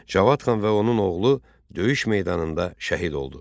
Cavad xan və onun oğlu döyüş meydanında şəhid oldu.